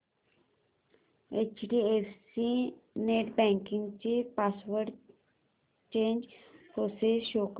HDFC net banking ची password change process show कर